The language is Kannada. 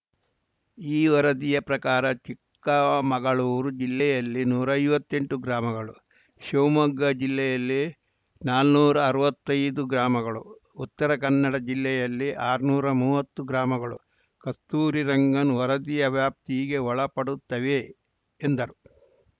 ಈ ವರದಿಯ ಪ್ರಕಾರ ಚಿಕ್ಕಮಗಳೂರು ಜಿಲ್ಲೆಯಲ್ಲಿ ನೂರಾ ಐವತ್ತೆಂಟು ಗ್ರಾಮಗಳು ಶಿವಮೊಗ್ಗ ಜಿಲ್ಲೆಯಲ್ಲಿ ನಾನುರಾ ಅರ್ವತ್ತೈದು ಗ್ರಾಮಗಳು ಉತ್ತರಕನ್ನಡ ಜಿಲ್ಲೆಯಲ್ಲಿ ಆರ್ನೂರಾ ಮುವತ್ತು ಗ್ರಾಮಗಳು ಕಸ್ತೂರಿರಂಗನ್‌ ವರದಿಯ ವ್ಯಾಪ್ತಿಗೆ ಒಳಪಡುತ್ತವೆ ಎಂದರು